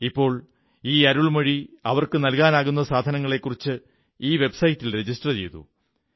ഇപ്പോൾ ഈ അരുൾമൊഴി അവർക്കു നല്കാനാകുന്ന സാധനങ്ങളെക്കുറിച്ച് ഈ വെബ്സൈറ്റിൽ രജിസ്റ്റർ ചെയ്തു